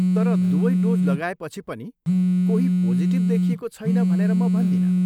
तर, दुवै डोज लगाएपछि पनि कोही पोजिटिभ देखिएको छैन भनेर म भन्दिनँ।